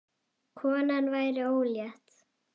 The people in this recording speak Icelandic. Konan væri ólétt.